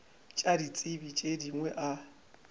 tša ditsebi tše dingwe a